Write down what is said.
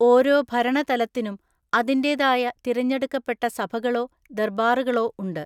ഓരോ ഭരണ തലത്തിനും അതിന്റേതായ തിരഞ്ഞെടുക്കപ്പെട്ട സഭകളോ ദർബാറുകളോ ഉണ്ട്.